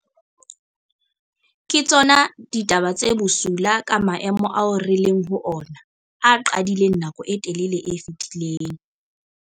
Ke tsona ditaba tse bosula ka maemo ao re leng ho ona, a qadileng nakong e telele e fetileng.